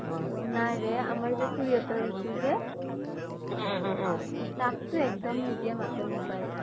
নাই ৰে আমাৰ খুৰীহতৰ ৰীতু যে তাকটো একডম নিদিয়ে মাকে মোবাইল